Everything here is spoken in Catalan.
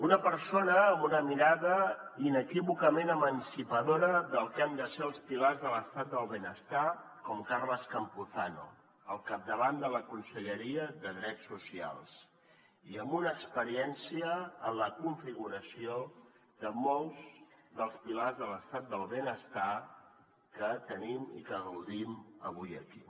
una persona amb una mirada inequívocament emancipadora del que han de ser els pilars de l’estat del benestar com carles campuzano al capdavant de la conselleria de drets socials i amb una experiència en la configuració de molts dels pilars de l’estat del benestar que tenim i que gaudim avui aquí